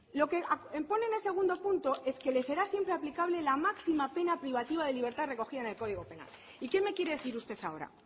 lo que pone en el segundo punto es que le será siempre aplicable la máxima pena privativa de libertad recogida en el código penal y qué me quiere decir usted ahora